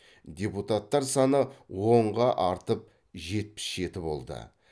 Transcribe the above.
депутаттар саны онға артып жетпіс жеті болды